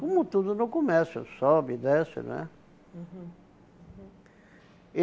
Como tudo no comércio, sobe e desce, né? Uhum